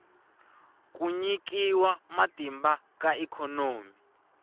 ku nyikiwa matimba ka ikhonomi